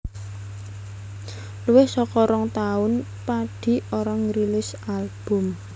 Luwih saka rong taun Padi ora ngrilis album